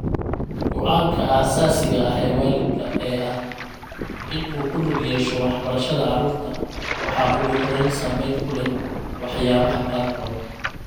Go'aanka aasaasiga ah ee waalidka ee ah in uu ku lug yeesho waxbarashada carruurta waxaa ugu horrayn saameyn ku leh waxyaabaha qaarkood.